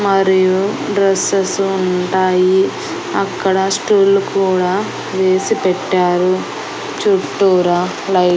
మరియు డ్రెస్సెసు ఉంటాయి అక్కడ స్టూళ్లు కూడా వేసి పెట్టారు చుట్టూరా లైట్ --